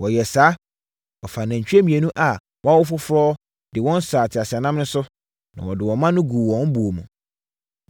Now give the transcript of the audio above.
Wɔyɛɛ saa. Wɔfaa anantwie mmienu a wɔawo foforɔ de wɔn saa teaseɛnam no so, na wɔde wɔn mma no guu buo mu.